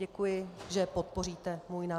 Děkuji, že podpoříte můj návrh.